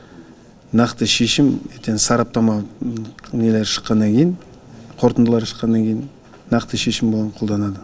нақты шешім ертең сараптама нелері шыққаннан кейін қорытындылары шыққаннан кейін нақты шешім оған қолданады